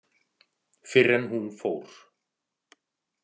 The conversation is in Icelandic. Fyrr en hún fór.